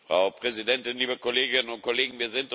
Frau Präsidentin, liebe Kolleginnen und Kollegen!